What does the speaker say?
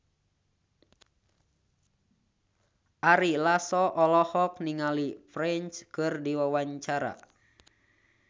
Ari Lasso olohok ningali Prince keur diwawancara